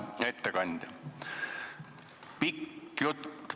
Hea ettekandja!